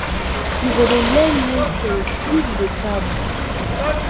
You go dey learn new tins if you dey travel.